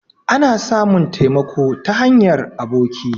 Ana samun taimako ta hanyar aboki